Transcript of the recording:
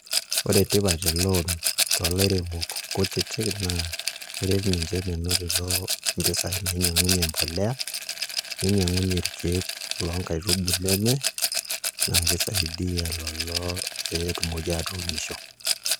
Ore eloon tolairemok kutitik naa keret ninche menotito mpisaai nainyiang'unye embolea ninyiang'unyie irkeek loonkaitubulu enye naa kisaidia lelo pee etumoki aatuunisho.